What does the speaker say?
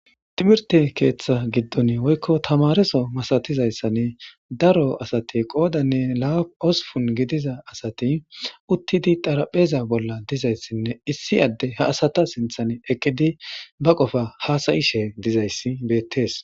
timirte keeththa giddon woykko tamareso masatizayssanne daro asati qoodanne laaosupun gidiza asati uttidi darapheza bolla dizayssinne issi adde ha asata sinthan eqqidi ba qofa haasayishe dizayssi beettees